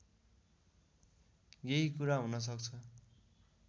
यही कुरा हुनसक्छ